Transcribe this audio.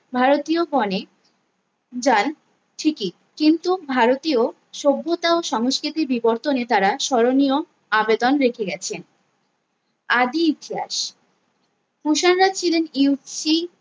ভারতীয় গোনে যান ঠিকই কিন্তু ভারতীয় সভ্যতা ও সংস্কৃতি বিবর্তনে তারা স্মরণীয় আবেদন রেখে গেছেন আদি ইতিহাস কুষাণরা ছিলেন